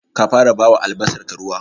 Ka fara bawa albasarka ruwa?